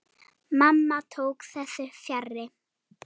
Mamma tók þessu fjarri.